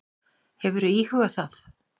Hefurðu íhugað það?